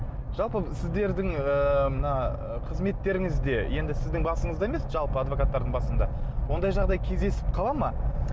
жалпы сіздердің ыыы мына қызметтеріңізде енді сіздің басынызда емес жалпы адвокаттардың басында ондай жағдай кездесіп қала ма